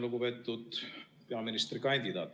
Lugupeetud peaministrikandidaat!